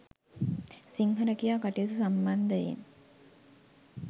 සිංහ රැකියා කටයුතු සම්බන්ධයෙන්